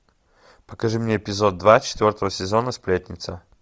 покажи мне эпизод два четвертого сезона сплетница